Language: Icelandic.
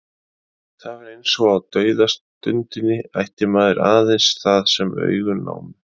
Það var eins og á dauðastundinni ætti maður aðeins það sem augun námu.